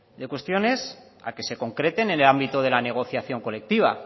de cuestiones a que se concreten en el ámbito de la negociación colectiva